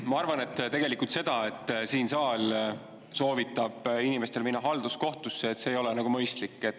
Ma arvan, et tegelikult see, et siin saal soovitab inimestel minna halduskohtusse, ei ole nagu mõistlik.